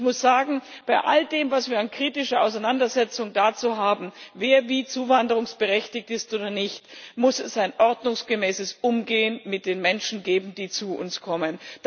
Ich muss sagen Bei all dem, was wir an kritischer Auseinandersetzung dazu haben, wer wie zuwanderungsberechtigt ist oder nicht, muss es ein ordnungsgemäßes Umgehen mit den Menschen geben, die zu uns kommen.